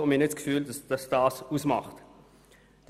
Wir glauben nicht, dass das entscheidend ist.